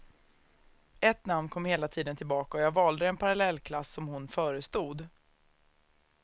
Ett namn kom hela tiden tillbaka och jag valde den parallellklass som hon förestod.